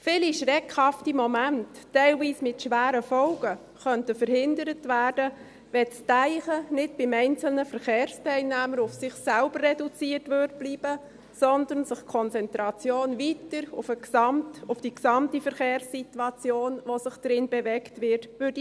Viele schreckhafte Momente, teilweise mit schweren Folgen, könnten verhindert werden, wenn das Denken nicht beim einzelnen Verkehrsteilnehmer auf sich selber reduziert bleiben würde, sondern die Konzentration weiter der gesamten Verkehrssituation, in der man sich bewegt, gelten würde.